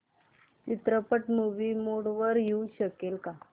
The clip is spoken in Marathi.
चित्रपट मूवी मोड मध्ये येऊ शकेल का